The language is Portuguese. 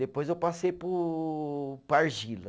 Depois eu passei para o, para a argila.